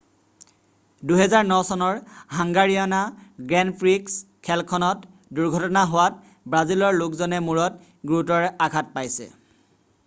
2009 চনৰ হাঙ্গাৰীয়না grand prix খেলখনত দুৰ্ঘটনা হোৱাত ব্ৰাজিলৰ লোকজনে মূৰত গুৰুতৰ আঘাত পাইছে